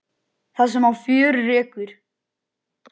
Þú skilur ekkert í þessu.